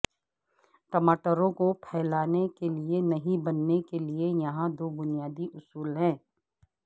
ٹماٹروں کو پھیلانے کے لئے نہیں بننے کے لئے یہاں دو بنیادی اصول ہیں